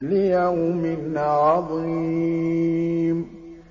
لِيَوْمٍ عَظِيمٍ